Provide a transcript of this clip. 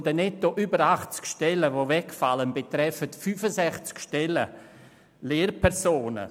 Von den netto über 80 Stellen, die dadurch wegfallen, betreffen 65 Stellen Lehrpersonen.